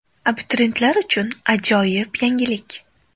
Abituriyentlar uchun ajoyib yangilik!